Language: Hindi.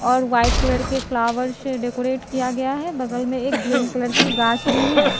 और वाइट कलर के फ्लावर से डेकोरेट किया गया है बगल में एक ग्रीन कलर की घास भी है।